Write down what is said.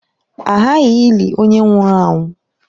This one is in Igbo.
A ghaghị ịli onye nwụrụ anwụ.